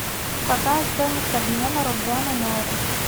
какая стоимость обмена рубля на найры